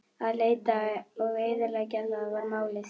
Að leita og eyðileggja: það var málið.